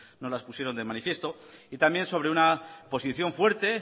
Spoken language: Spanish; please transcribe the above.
nos las pusieron de manifiesto y también sobre una posición fuerte